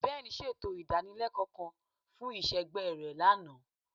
Ben ṣeto idanileko kan fun iṣẹgbẹ rẹ lana